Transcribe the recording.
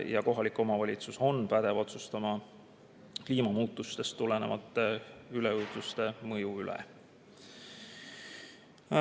Ja kohalik omavalitsus on pädev otsustama kliimamuutustest tulenevate üleujutuste mõju üle.